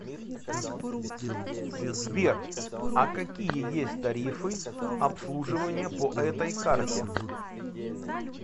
сбер а какие есть тарифы обслуживания по этой карте